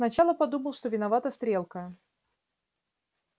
сначала подумал что виновата стрелка